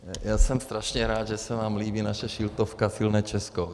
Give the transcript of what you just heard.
Já jsem strašně rád, že se vám líbí naše kšiltovka Silné Česko.